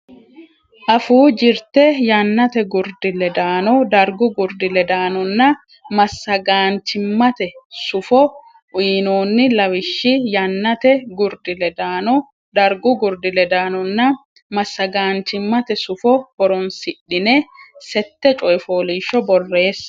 Afuu Jirte Yannate Gurdi ledaano Dargu Gurdi ledaanonna Massagaanchimmate Sufo uynoonni lawishshi yannate gurdi ledaano dargu durdi ledaannonna massagaanchimmate sufo horonsidhine sette coy fooliishsho borreesse.